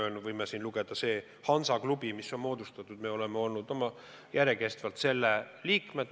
Me võime siin lugeda, et see hansaklubi, mis on moodustatud, me oleme olnud järjekestvalt selle liikmed.